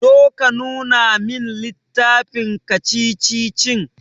Zo ka nuna min littafin kacici-kacicicin.